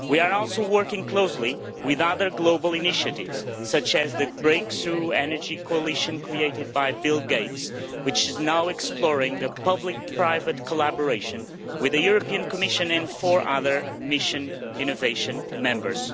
We are also working closely with other global initiatives, such as the Breakthrough Energy Coalition created by Bill Gates, which is now exploring a public-private collaboration with the Commission and four other Mission Innovation members.